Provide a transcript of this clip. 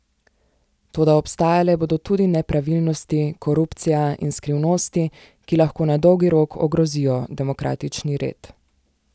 Toda obstajale bodo tudi nepravilnosti, korupcija in skrivnosti, ki lahko na dolgi rok ogrozijo demokratični red.